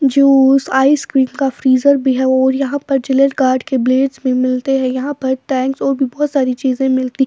juice ice cream का freezer भी है और यहां पर जिलेट गार्ड के ब्लेड्स भी मिलते हैं यहां पर टैंक्स और भी बहुत सारी चीजें मिलती --